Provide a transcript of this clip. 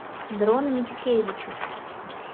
дрон мицкевичус